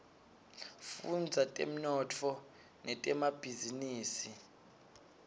fudza temnotfo netemabhizinisa